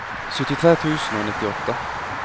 syttitre tusen og nittiåtte